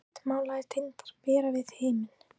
Hvítmálaðir tindar bera við himin